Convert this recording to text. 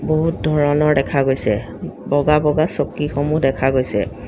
বহুত ধৰণৰ দেখা গৈছে বগা বগা চকীসমূহ দেখা গৈছে।